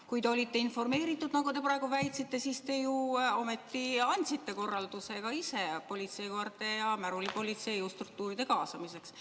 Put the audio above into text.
Kui te olite informeeritud, nagu te praegu väitsite, siis te ju ometi andsite ka ise korralduse politseikoerte ja märulipolitsei ja jõustruktuuride kaasamiseks.